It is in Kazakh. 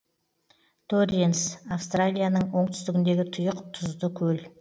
торренс австралияның оңтүстігіндегі тұйық тұзды көл